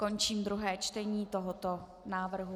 Končím druhé čtení tohoto návrhu.